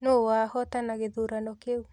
Nũ wahotana gĩthurano kĩu